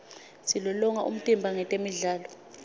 silolonga umtimba ngetemidlalo